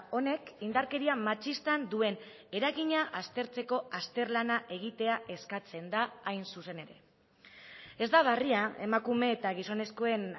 honek indarkeria matxistan duen eragina aztertzeko azterlana egitea eskatzen da hain zuzen ere ez da berria emakume eta gizonezkoen